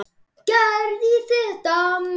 Gerði í þetta margar ferðir.